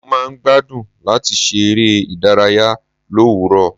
Mo máa ń gbádùn láti ṣe eré ìdárayá l'òwúrò.